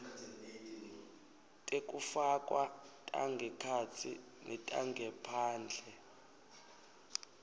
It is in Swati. tekufakwa tangekhatsi netangephandle